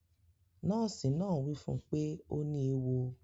Nọ́ọ̀sì náà wí fún pé ọ ní ewọ